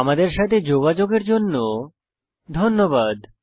আমাদের সাথে যোগাযোগের জন্য ধন্যবাদ